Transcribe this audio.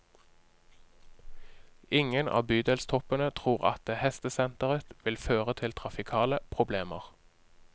Ingen av bydelstoppene tror at hestesenteret vil føre til trafikale problemer.